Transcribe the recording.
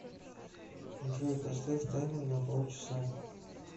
джой поставь таймер на пол часа